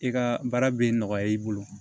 I ka baara bɛ nɔgɔya i bolo